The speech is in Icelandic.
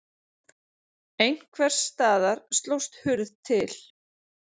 Einhvers staðar slóst hurð til.